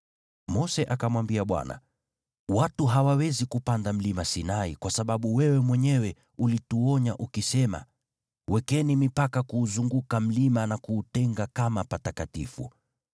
Mose akamwambia Bwana , “Watu hawawezi kupanda mlima Sinai kwa sababu wewe mwenyewe ulituonya ukisema, ‘Wekeni mipaka kuuzunguka mlima na kuutenga kama patakatifu.’ ”